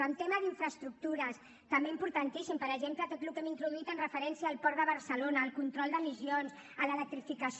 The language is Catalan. en el tema d’infraestructures també importantíssim per exemple tot el que hem introduït en referència al port de barcelona el control d’emissions l’electrificació